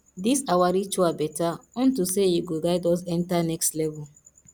dis our ritual better unto say e go guide us enter next level